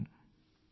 నమస్కారం